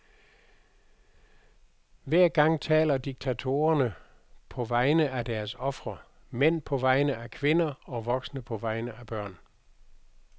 Hver gang taler diktatorer på vegne af deres ofre, mænd på vegne af kvinder og voksne på vegne af børn.